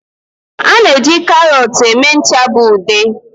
A na-eji karọt eme ncha bụ ude.